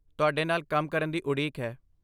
ਤੁਹਾਡੇ ਨਾਲ ਕੰਮ ਕਰਨ ਦੀ ਉਡੀਕ ਹੈ।